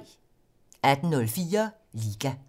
18:04: Liga